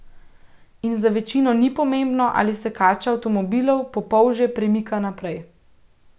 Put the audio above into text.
In za večino ni pomembno, ali se kača avtomobilov po polžje premika naprej.